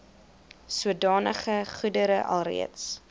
sodanige goedere alreeds